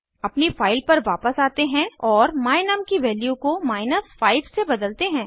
अपनी फाइल पर वापस आते हैं और my num की वैल्यू को 5 से बदलते हैं